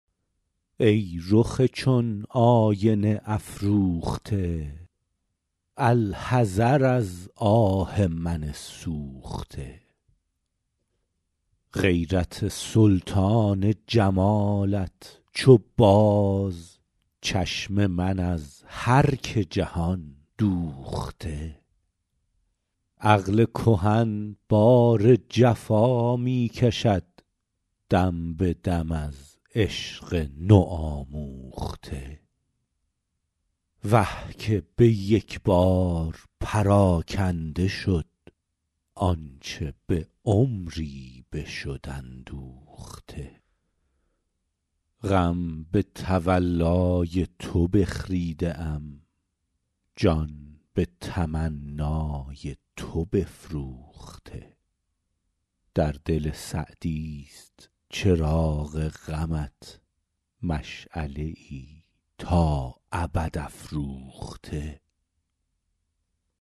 ای رخ چون آینه افروخته الحذر از آه من سوخته غیرت سلطان جمالت چو باز چشم من از هر که جهان دوخته عقل کهن بار جفا می کشد دم به دم از عشق نوآموخته وه که به یک بار پراکنده شد آنچه به عمری بشد اندوخته غم به تولای تو بخریده ام جان به تمنای تو بفروخته در دل سعدیست چراغ غمت مشعله ای تا ابد افروخته